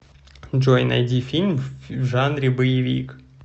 джой найди фильм в жанре боевик